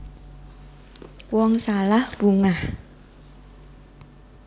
Wong salah bungah